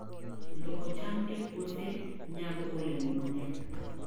Loko cham e puothe nyago olemo mang'eny.